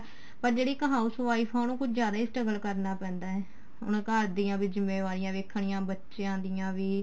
ਪਰ ਇੱਕ ਜਿਹੜੀ house wife ਏ ਉਹਨੂੰ ਕੁੱਝ ਜਿਆਦਾ ਈ struggle ਕਰਨਾ ਪੈਂਦਾ ਏ ਉਹਨੇ ਘਰ ਦੀਆਂ ਵੀ ਜਿਮੇਵਾਰੀਆਂ ਵੇਖਣੀਆ ਬੱਚਿਆਂ ਦੀਆਂ ਵੀ